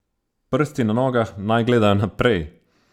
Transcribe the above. Prsti na nogah naj gledajo naprej.